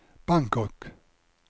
Bangkok